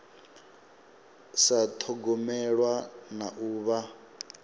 sa thogomelwa na u vha